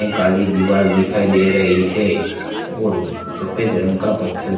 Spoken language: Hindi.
एक काली दीवार दिखाई दे रही है और सफेद रंग का पत्थर--